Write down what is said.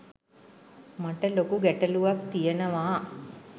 මට ලොකු ගැටළුවක් තියනවා